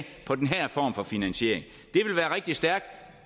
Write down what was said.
på den her form for finansiering det vil være rigtig stærkt